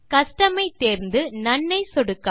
custom ஐ தேர்ந்து none ஐ சொடுக்கவும்